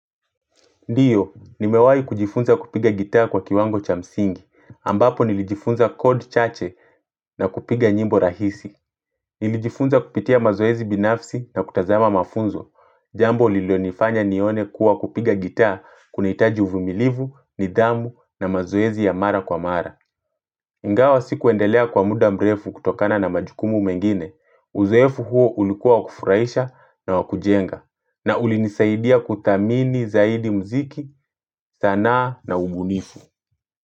Ndio, nimewai kujifunza kupiga gitaa kwa kiwango cha msingi, ambapo nilijifunza code chache na kupiga nyimbo rahisi. Nilijifunza kupitia mazoezi binafsi na kutazama mafunzo, jambo lilonifanya nione kuwa kupiga gitaa kunahitaji uvumilivu, nidhamu na mazoezi ya mara kwa mara. Ingawa sikuendelea kwa muda mrefu kutokana na majukumu mengine, uzoefu huo ulikuwa kufurahisha na wa kujenga. Na ulinisaidia kuthamini zaidi mziki zanaa na ubunifu.